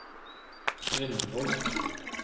Grindvoll